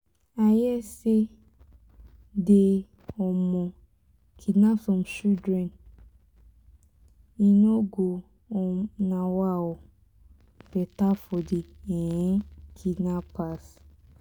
i hear say dey um kidnap some children. e no go um better for the um kidnappers.